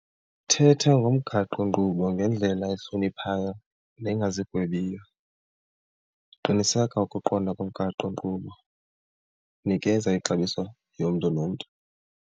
Thetha ngomgaqonkqubo ngendlela ehloniphayo nengazigwebiyo, qiniseka ukuqonda komgaqonkqubo, nikeza ixabiso yomntu nomntu.